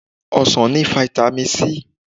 Ọsàn ni fáítámì Si.